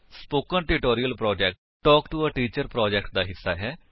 spoken tutorial project talk to a teacher project ਦਾ ਹਿੱਸਾ ਹੈ